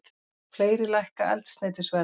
Fleiri lækka eldsneytisverð